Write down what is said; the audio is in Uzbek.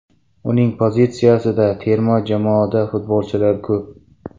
Uning pozitsiyasida terma jamoada futbolchilar ko‘p.